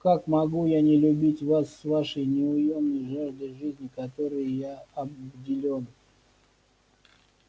как могу я не любить вас с вашей неуёмной жаждой жизни которой я обделён